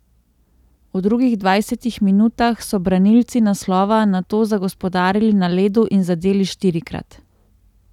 V drugih dvajsetih minutah so branilci naslova nato zagospodarili na ledu in zadeli štirikrat.